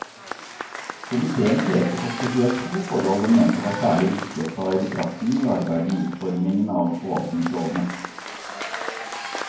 Komiteen pekte på spesielt to forhold den mente var særlig viktig å ta i betraktning under arbeidet med utformingen av forvaltningslovene.